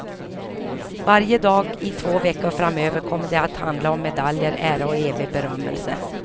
Varje dag, i två veckor framöver, kommer det att handla om medaljer, ära och evig berömmelse.